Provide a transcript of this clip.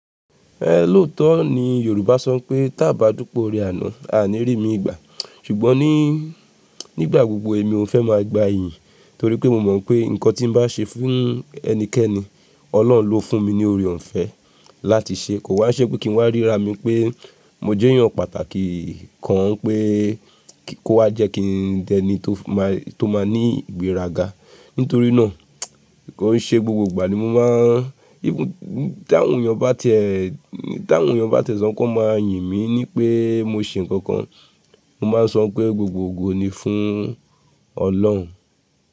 Ẹ lóòótọ́ ni Yorùbá sọ pé, "tá bá dúpẹ́ oore àná, a ní rí mi ìgbà." ṣùgbọ́n ní, nígbà gbogbo èmi ò fẹ́ máa gba iyì torí pé mo mọ̀ pé nǹkan tí n bá ṣe fún ẹnikẹ́ni, Ọlọ́run ló fún mi ní oore ọ̀fẹ́ láti ṣe. Kò wá ṣẹ́ pé kí n wá rí ra mi pé mo jẹ́ èèyàn pàtàkì kan pé kó wá jẹ́ kí n jẹ́ ẹni tó máa ní ìgbéraga. Nítorí náà, kon ṣe gbogbo ìgbà ni mo máa ń, bí tí àwọn èèyàn bá tẹ̀sàn án kọ́ máa yìn mi ní pé mo ṣe nǹkan kan, mo máa sọ pé gbogbogbò ni fún Ọlọ́run.